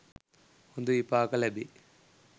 හොඳ විපාක ලැබේ.